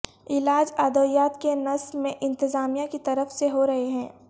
علاج ادویات کے نس میں انتظامیہ کی طرف سے ہورہے ہے